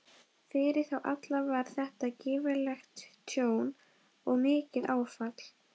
Fyrir þá alla var þetta gífurlegt tjón og mikið áfall.